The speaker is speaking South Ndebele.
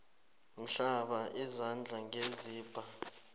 hlamba izandla ngesibha